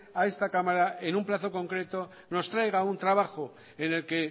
a esta cámara en un plazo concreto nos traiga un trabajo en el que